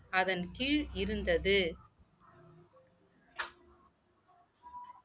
அதன் கீழ் இருந்தது